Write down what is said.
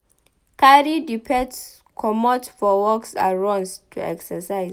Carry di pet comot for walks and runs to exercise